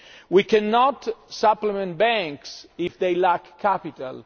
We cannot supplement banks if they lack capital.